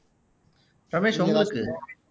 ரமேஷ் உங்களுக்கு